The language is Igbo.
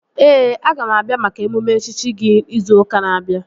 Ee, aga m abịa maka emume echichi gị izu ụka na-abịa